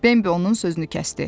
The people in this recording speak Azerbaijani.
Bembi onun sözünü kəsdi.